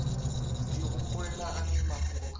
ndi humbela hani mafhungo kha